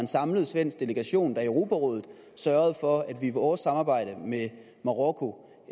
samlet svensk delegation der i europarådet sørgede for at vi i vores samarbejde med marokko